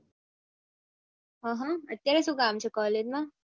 હ હ અત્યારે શુંકામ છે કોલેજ માં